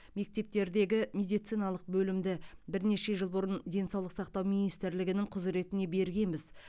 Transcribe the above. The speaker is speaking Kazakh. мектептердегі медициналық бөлімді бірнеше жыл бұрын денсаулық сақтау министрлігінің құзіретіне бергенбіз